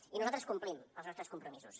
i nosaltres complim els nostres compromisos